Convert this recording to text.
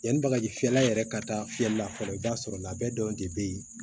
Yanni bagaji fiyɛla yɛrɛ ka taa fiyɛli la fɔlɔ i b'a sɔrɔ labɛnw de bɛ yen